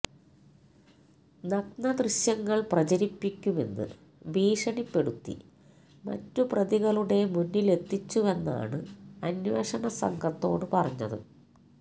നഗ്നദൃശ്യങ്ങൾ പ്രചരിപ്പിക്കുമെന്ന് ഭീഷണിപ്പെടുത്തി മറ്റു പ്രതികളുടെ മുന്നിലെത്തിച്ചുവെന്നാണ് അന്വേഷണസംഘത്തോടു പറഞ്ഞത്